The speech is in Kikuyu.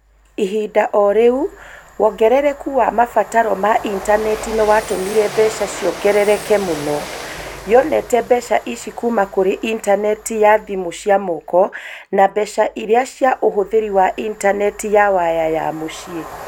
Ihinda-inĩ o rĩu, wongerereku wa mabataro ma intaneti nĩ watũmire mbeca ciongerereke mũno. Yonete mbeca ici kuuma kũrĩ intaneti ya thimũ cia moko. Na mbeca iria cia ũhũthĩri wa intaneti ya waya ya mũciĩ.